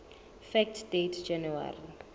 fact date january